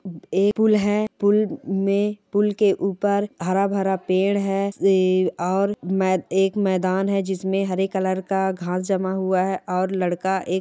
एक पुल है पुल मे पुल के ऊपर हरा-भरा पेड़ है ए और मे एक मैदान है जिसमे हरे कलर का घास जमा हुआ है और लड़का एक--